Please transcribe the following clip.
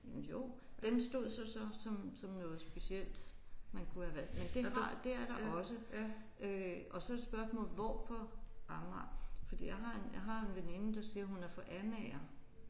Jamen jo den stod så så som som noget specielt man kunne have valgt men det har det er der også øh og så er det spørgsmålet hvor på Amager fordi jeg har en jeg har en veninde der siger hun er fra Amager